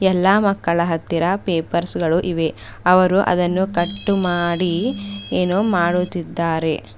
ಎಲ್ಲಾ ಮಕ್ಕಳ ಹತ್ತಿರ ಪೇಪರ್ಸ್ ಗಳು ಇವೆ ಅವರು ಅದನ್ನು ಕತಟ್ಟು ಮಾಡಿ ಏನೋ ಮಾಡುತ್ತಿದ್ದಾರೆ.